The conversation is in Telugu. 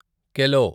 కెలో